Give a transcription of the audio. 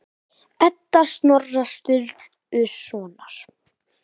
Edda Snorra Sturlusonar.